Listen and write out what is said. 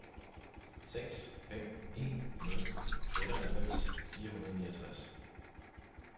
seks fem en nul otteoghalvfems fire hundrede og niogtres